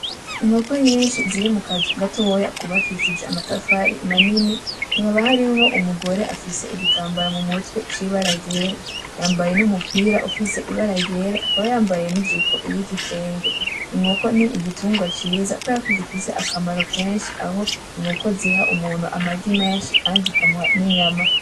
Inkoko nyinshi ziri mu kazu gatoya kubakishijwe amatafari manini, hakaba hariho umugore afise igitambara mumutwe c'ibara ryera. Yambaye n'umupira ufise ibara ryera, akaba yambaye n'ijipo y'igitenge. Inkoko ni igitungwa ciza kubera ko gifise akamaro kenshi aho inkoko ziha umuntu amagi menshi kandi zikamuha n'inyama.